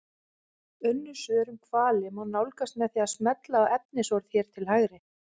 Önnur svör um hvali má nálgast með því að smella á efnisorð hér til hægri.